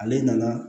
Ale nana